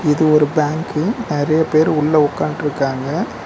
இது ஒரு பேங்க்கு நறைய பேர் உள்ள உக்காண்ட்ருகாங்க.